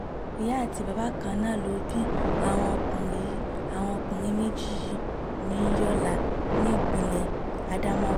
ìyá àti bàbá kan náà ló bí àwọn ọkùnrin àwọn ọkùnrin méjì yìí ní yọlá nípìnlẹ̀ ádámáwà